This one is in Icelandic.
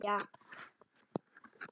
Andrés og María.